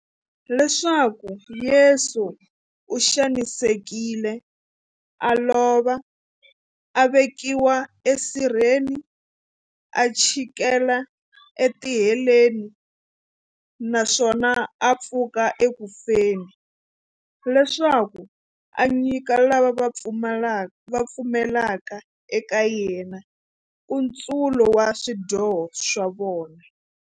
Leswaku Yesu u xanisekile, a lova, a vekiwa esirheni, a chikela etiheleni, naswona a pfuka eku feni, leswaku a nyika lava va pfumelaka eka yena, nkutsulo wa swidyoho swa vona.